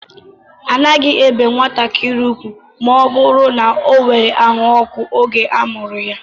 A naghi ébé nwatakịrị ugwu ma ọ bụrụ na o nwèrè àhú ọkụ oge a mụrụ ya